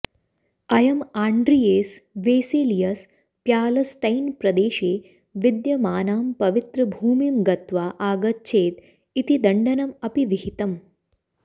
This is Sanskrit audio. अयम् आण्ड्रियेस् वेसेलियस् प्यालस्टैन्प्रदेशे विद्यमानां पवित्रभूमिं गत्वा आगच्छेत् इति दण्डनम् अपि विहितम्